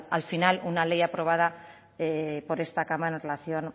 al final una ley aprobada por esta cámara en relación